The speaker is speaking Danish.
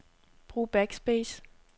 Brug backspace.